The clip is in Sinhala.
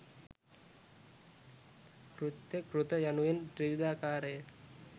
කෘත්‍ය, කෘත යනුවෙන් ත්‍රිවිධාකාරය.